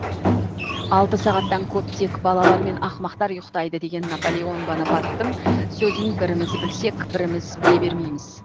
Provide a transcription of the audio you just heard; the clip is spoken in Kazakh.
алты сағаттан көп тек балалар мен ақымақтар ұйықтайды деген напалеон бонопарттын сөзін біріміз білсек біріміз біле бермейміз